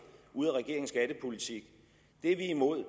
ud af regeringens skattepolitik er vi imod